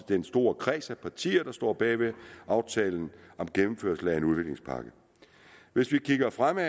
den store kreds af partier der står bag aftalen om gennemførelsen af en udviklingspakke hvis vi kigger fremad